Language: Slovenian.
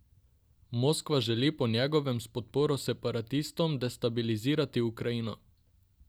Moskva želi po njegovem s podporo separatistom destabilizirati Ukrajino.